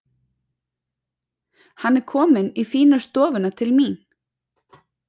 Hann er kominn í fínu stofuna til mín.